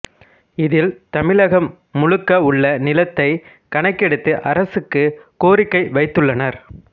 இதில் தமிழகம் முழுக்க உள்ள நிலத்தைக் கணக்கெடுத்து அரசுக்கு கோரிக்கை வைத்துள்ளனர்